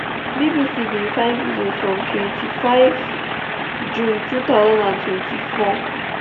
bbc bin find videos from twenty-five um june two thousand and twenty-four